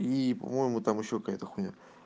и по-моему там ещё какая-то хуйня